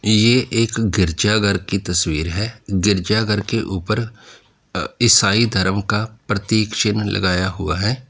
ये एक गिरजाघर की तस्वीर है। गिरजाघर के ऊपर अ ईसाई धर्म का प्रतीक चिन्ह लगाया हुआ है।